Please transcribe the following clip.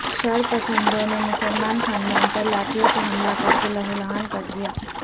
شرپسندوں نےمسلمان خاندان پرلاٹھیوں سے حملہ کرکے لہولہان کردیا